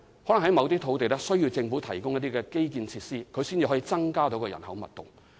第一，某些土地可能需要政府提供一些基建設施，才可以增加人口密度。